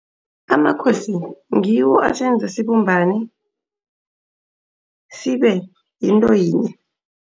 Amakhosi ngiwo asenza sibumbane sibe yinto yinye.